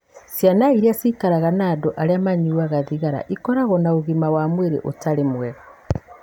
Ciana iria ciikaraga na andũ arĩa manyuaga thigara ikoragwo na ũgima wa mwĩrĩ ũtarĩ mwega.